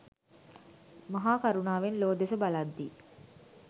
මහා කරුණාවෙන් ලොව දෙස බලද්දී